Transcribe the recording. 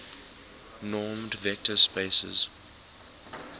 normed vector spaces